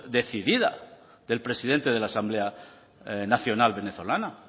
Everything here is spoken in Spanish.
decidida del presidente de la asamblea nacional venezolana